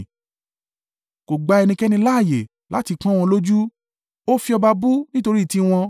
Kò gba ẹnikẹ́ni láààyè láti pọ́n wọn lójú; ó fi ọba bú nítorí tiwọn: